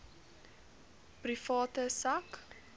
private sak